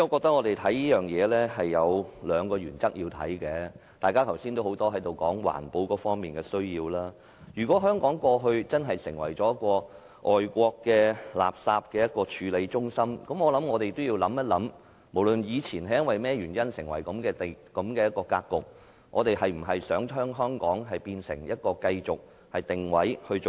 多位議員剛才均在此提及環保的需要，如果香港過去真的已成為外國垃圾的處理中心，我們便要想一想，無論以前是因何原因造成這樣的格局，我們是否想讓香港繼續定位這樣做呢？